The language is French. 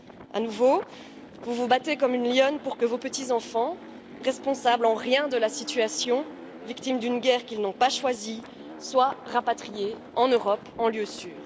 À nouveau, vous vous battez comme une lionne pour que vos petits enfants, qui ne sont en rien responsables de la situation, victimes d'une guerre qu'ils n'ont pas choisie, soient rapatriés en Europe, en lieu sûr.